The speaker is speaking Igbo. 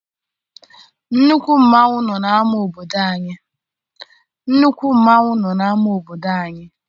Nnukwu mmanwụ nọ n'ama obodo anyị.